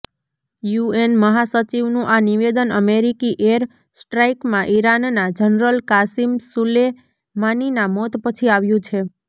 UN મહાસચિવનુ આ નિવેદન અમેરિકી એર સ્ટ્રાઇકમાં ઇરાનના જનરલ કાસિમ સુલેમાનીના મોત પછી આવ્યું છે